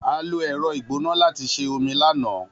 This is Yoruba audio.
A lo ẹ̀rọ ìgbóná láti sè omi lánàá